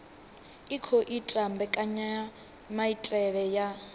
i khou ita mbekanyamaitele ya